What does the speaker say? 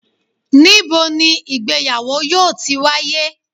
nibo ni ìgbéyàwò yoo ti waye?